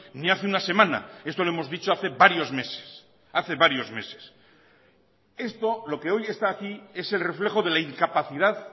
ni hace una semana esto lo hemos dicho hace varios meses hace varios meses esto lo que hoy está aquí es el reflejo de la incapacidad